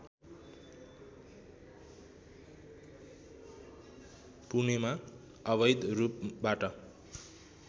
पुणेमा अवैध रूपबाट